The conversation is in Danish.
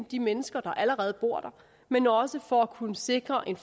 de mennesker der allerede bor der men også for fremadrettet at kunne sikre en